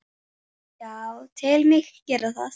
Já, tel mig gera það.